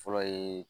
Fɔlɔ ye